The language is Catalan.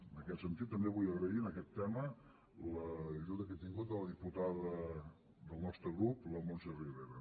en aquest sentit també vull agrair en aquest tema l’ajuda que he tingut de la diputada del nostre grup la montse ribera